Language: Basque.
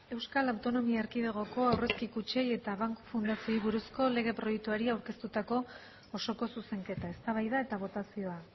euskal autonomia erkidegoko aurrezki kutxei eta banku fundazioei buruzko lege proiektuari aurkeztutako osoko zuzenketa eztabaida eta botazioa